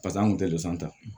Pasa an kun tɛ dosan ta